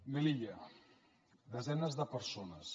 melilla desenes de persones